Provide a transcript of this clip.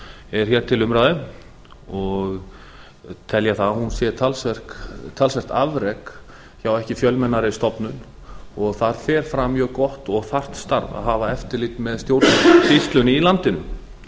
er hér til umræðu tel ég að hún sé talsvert afrek hjá ekki fjölmennari stofnun og þar fer fram mjög gott og þarft starf að hafa eftirlit með stjórnsýslunni í landinu